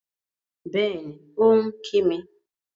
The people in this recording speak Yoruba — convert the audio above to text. Bẹ́ẹ̀ni, ó ń kí mi